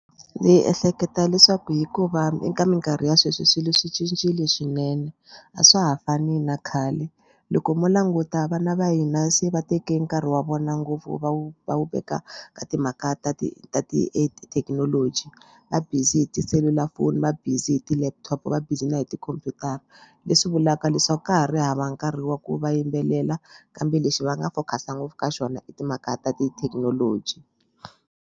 Ndzi ehleketa leswaku hikuva eka mikarhi ya sweswi swilo swi cincile swinene a swa ha fani na khale loko mo languta vana va hina se va teke nkarhi wa vona ngopfu va wu va wu veka ka timhaka ta ti ta tithekinoloji va busy hi tiselulafoni va busy hi ti-laptop va busy na hi tikhompyutara leswi vulaka leswaku ka ha ri hava nkarhi wa ku va yimbelela kambe lexi va nga focus-a ngopfu ka xona i timhaka ta tithekinoloji.